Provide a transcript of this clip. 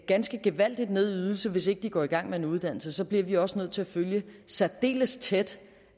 ganske gevaldigt ned i ydelse hvis de ikke går i gang med en uddannelse så bliver vi også nødt til at følge særdeles tæt